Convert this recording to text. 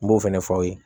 N b'o fɛnɛ fɔ aw ye